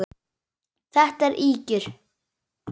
Þetta eru ýkjur!